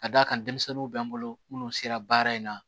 Ka d'a kan denmisɛnninw bɛ n bolo minnu sera baara in na